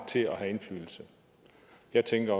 til at have indflydelse jeg tænker